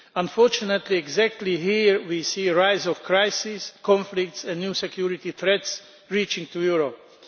Unfortunately, exactly here we see a rise in crises, conflicts and new security threats reaching Europe.